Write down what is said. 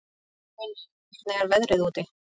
Sveinveig, hvernig er veðrið úti?